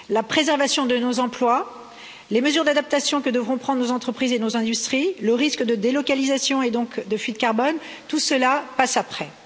La préservation de nos emplois, les mesures d'adaptation que devront prendre nos entreprises et nos industries, le risque de délocalisation et donc de fuite de carbone, tout cela passe après.